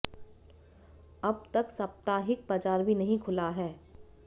अब तक सप्ताहिक बाजार भी नहीं खुला है